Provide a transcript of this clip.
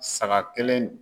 Saga kelen